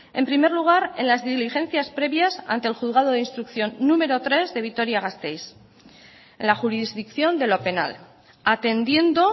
en primer lugar en las diligencias previas ante el juzgado de instrucción número tres de vitoria gasteiz la jurisdicción de lo penal atendiendo